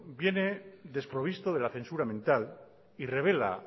viene desprovisto de la censura mental y revela